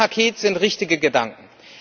In dem Paket sind richtige Gedanken.